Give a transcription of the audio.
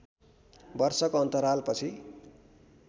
वर्षको अन्तराल पछि